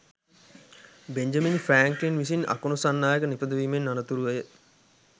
Benjamin Franklin විසින් අකුණු සන්නායකය නිපදවීමෙන් අනතුරුව